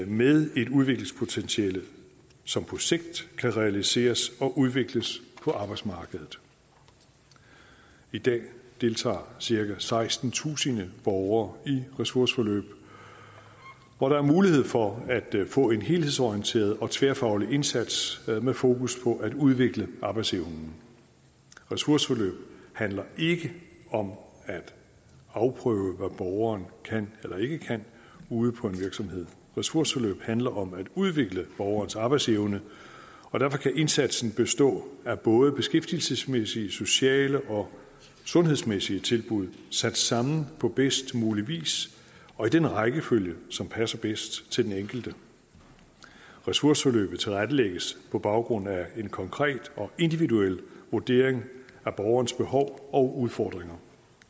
med et udviklingspotentiale som på sigt kan realiseres og udvikles på arbejdsmarkedet i dag deltager cirka sekstentusind borgere i et ressourceforløb hvor der er mulighed for at få en helhedsorienteret og tværfaglig indsats med fokus på at udvikle arbejdsevnen ressourceforløb handler ikke om at afprøve hvad borgeren kan eller ikke kan ude på en virksomhed ressourceforløb handler om at udvikle borgerens arbejdsevne og derfor kan indsatsen bestå af både beskæftigelsesmæssige sociale og sundhedsmæssige tilbud sat sammen på bedst mulig vis og i den rækkefølge som passer bedst til den enkelte ressourceforløbet tilrettelægges på baggrund af en konkret og individuel vurdering af borgerens behov og udfordringer